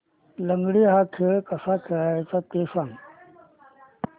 लंगडी हा खेळ कसा खेळाचा ते सांग